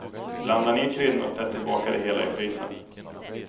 Blanda ner kryddorna och ställ tillbaka det hela i frysen.